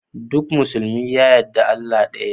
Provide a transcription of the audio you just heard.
Duk musulmi ya yadda Allah ɗaya ne.